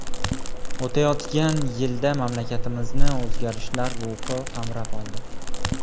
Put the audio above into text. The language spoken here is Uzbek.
O‘tayotgan yilda mamlakatimizni o‘zgarishlar ruhi qamrab oldi.